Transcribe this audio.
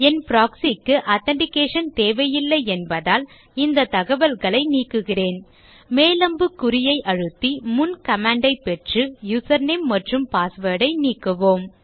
என் proxy க்கு authentication தேவையில்லை என்பதால் இந்த தகவல்களை நீக்குகிறேன் மேல்அம்புகுறியை அழுத்தி முன் command ஐ பெற்று யூசர்நேம் மற்றும் password ஐ நீக்குவோம்